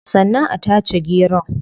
Sannan a tace geron